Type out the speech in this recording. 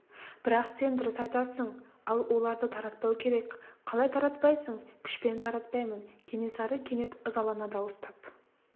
бірақ сен дұрыс айтасың ал оларды таратпау керек қалай таратпайсың күшпен таратпаймын кенесары кенет ызалана дауыстап